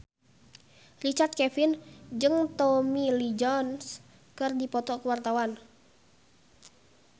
Richard Kevin jeung Tommy Lee Jones keur dipoto ku wartawan